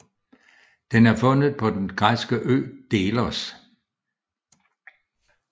Den er fundet på den græske ø Delos